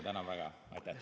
Tänan väga!